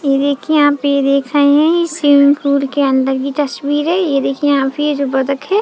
ये देखिये यहाँ पे देख रहे है ये स्विमिंग पूल के अंदर की तस्वीर है ये देखिये यहाँ पे ये जो बतख है।